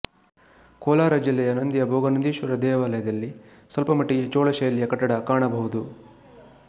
ಕೋಲಾರ ಜಿಲ್ಲೆಯ ನಂದಿಯ ಭೋಗನಂದೀಶ್ವರ ದೇವಾಲಯದಲ್ಲಿ ಸ್ವಲ್ಪ ಮಟ್ಟಿಗೆ ಚೋಳ ಶೈಲಿಯ ಕಟ್ಟಡ ಕಾಣಬಹುದು